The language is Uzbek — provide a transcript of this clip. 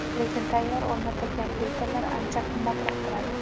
Lekin tayyor o‘rnatilgan filtrlar ancha qimmatroq turadi.